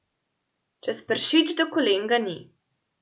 Čez pršič do kolen ga ni.